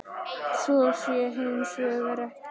Svo sé hins vegar ekki.